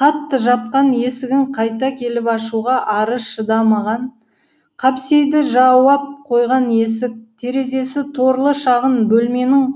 қатты жапқан есігін қайта келіп ашуға ары шыдамаған қапсейді жауып қойған есік терезесі торлы шағын бөлменің